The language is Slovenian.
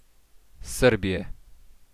Srbije.